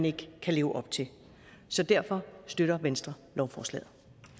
ikke kan leve op til så derfor støtter venstre lovforslaget